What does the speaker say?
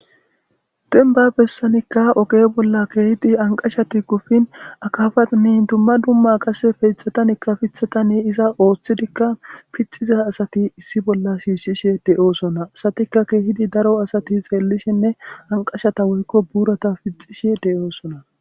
dembba bessanikka oqe bolla keehidi anqashati kufin akafani dumma dumma qase peethatanikka pithatani iza ooththidikka pithiza asati issi bolla shiisshishe de7oosona asatikka keehidi daro asati xeellishenne anqashata woykko buurata pixishe de7oosona.